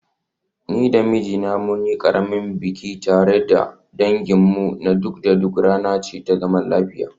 Ni da mijina mun yi ƙaramin biki tare da danginmu na kud da kud, rana ce ta zaman lafiya.